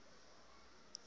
ha o ne o ka